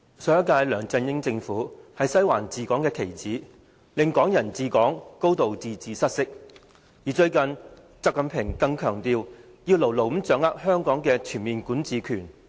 上屆梁振英政府是"西環"治港的棋子，令"港人治港"、"高度自治"失色，最近習近平更強調，要牢牢掌握香港的全面管治權。